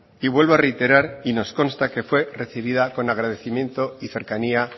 y vuelvo a reiterar y nos consta que fue recibida con agradecimiento y cercanía